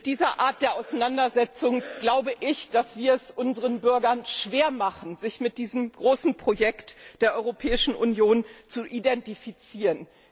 Mit dieser Art der Auseinandersetzung glaube ich, dass wir es unseren Bürgern schwer machen, sich mit diesem großen Projekt der Europäischen Union zu identifizieren.